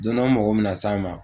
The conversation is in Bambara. Don na n mɔgɔ bɛna se a ma